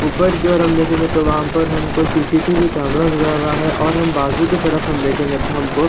ऊपर की और हम देखेंगे तो वह पर हमको सी_सी_टी_वी कैमरा नज़र आ रहा है और हम बाजु की तरफ हमको --